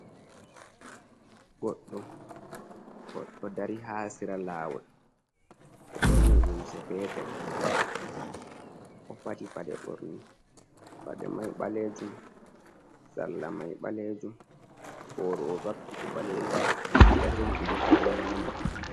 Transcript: Goɗɗo, goɗɗo dari haa sera laawol, o ɓorni limse peetel, o faɗi paɗe ɓorne. Paɗe may ɓaleejum, sarla may ɓaleejum, booro o vakki fu ɓaleejum, o jogi kuje fu o nyaama.